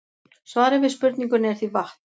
Svarið við spurningunni er því vatn.